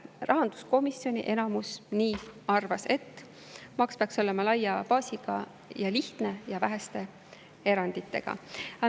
Rahanduskomisjoni enamus arvas, et maks peaks olema laia baasiga, lihtne ja väheste eranditega.